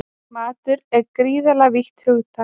Matur er gríðarlega vítt hugtak